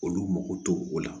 Olu mago tɛ o la